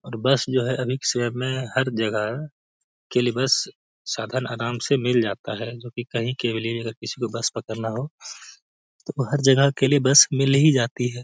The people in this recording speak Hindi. और बस जो है अभी के समय में हर जगह है के लिए बस साधन आराम से मिल जाता है जो की कही के लिए अगर किसी को बस पकड़ना हो तो हर जगह के लिए बस मिल ही जाती है।